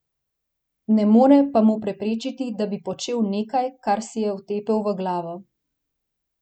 Ne more pa mu preprečiti, da bi počel nekaj, kar si je vtepel v glavo.